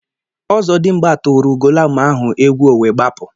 Ozodimgba tụrụ ugoloọma ahụ egwu o wee gbapu